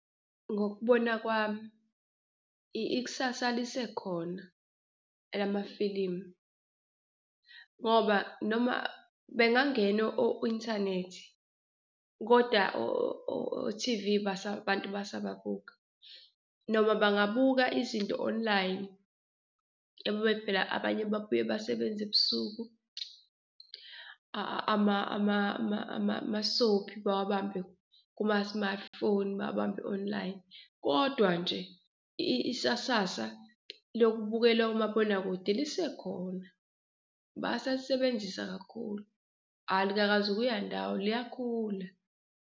Ngokubona kwami ikusasa lisekhona elamafilimu ngoba noma bengangena o-inthanethi kodwa o-T_V abantu basababuka noma bangabuka izinto online abanye babuye basebenze ebusuku ama-soapie bawabambe kuma-smartphone, bawabambe-online kodwa nje isasasa lokubukela omabonakude lisekhona. Basalisebenzisa kakhulu alikakazukuya ndawo, liyakhula.